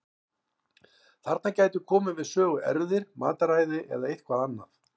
Þarna gætu komið við sögu erfðir, mataræði eða eitthvað annað.